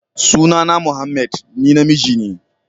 Sunana Mohammed, ni namiji ne.